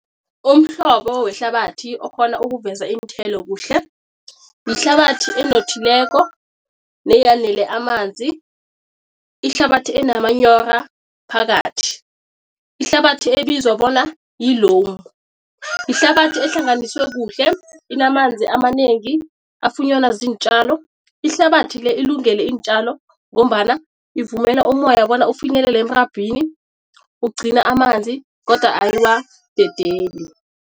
Umhlobo wehlabathi okhona ukuveza iinthelo kuhle, yihlabathi enothileko amanzi, ihlabathi enomanyora phakathi, ihlabathi ebizwa bona yi-loam. Ihlabathi ehlanganiswe kuhle inamanzi amanengi afunyanwa ziintjalo. Ihlabathi le ilungele iintjalo ngombana ivumela umoya bona ufinyelele emrabhini, ugcina amanzi kodwa ayiwadedeli.